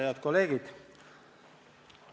Head kolleegid!